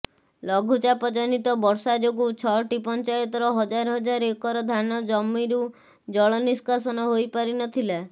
ଲଘୁଚାପଜନିତ ବର୍ଷା ଯୋଗୁ ଛଅଟି ପଞ୍ଚାୟତର ହଜାର ହଜାର ଏକର ଧାନ ଜମିରୁ ଜଳ ନିଷ୍କାସନ ହୋଇପାରି ନଥିଲା